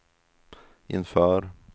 inför